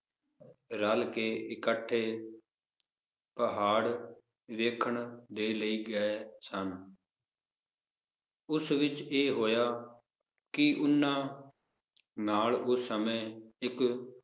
ਰੱਲ ਕੇ ਇਕੱਠੇ ਪਹਾੜ ਵੇਖਣ ਦੇ ਲਈ ਗਏ ਸਨ ਉਸ ਵਿਚ ਇਹ ਹੋਇਆ ਕਿ ਓਹਨਾ ਨਾਲ ਉਸ ਸਮੇ ਇਕ